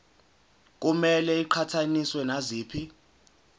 kumele iqhathaniswe naziphi